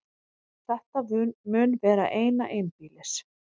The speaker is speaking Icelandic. Þetta mun vera eina einbýlis